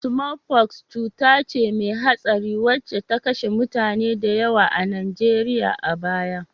Sumolfoks cuta ce mai hatsari wacce ta kashe mutane da yawa a Najeriya a baya